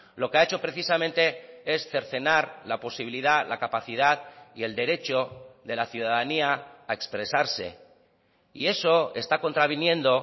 lo que ha hecho precisamente es cercenar la posibilidad la capacidad y el derecho de la ciudadanía a expresarse y eso está contraviniendo